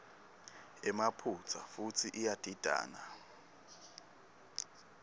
emaphutsa futsi iyadidana